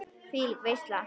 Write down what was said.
Þvílík veisla.